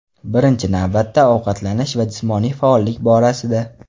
Birinchi navbatda ovqatlanish va jismoniy faollik borasida.